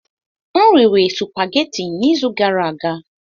M riri supageti n'izu gara aga.